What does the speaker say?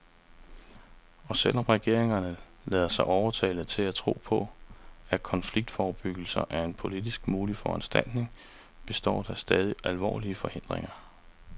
Og selv om regeringerne lader sig overtale til at tro på, at konfliktforebyggelse er en politisk mulig foranstaltning, består der stadig alvorlige forhindringer.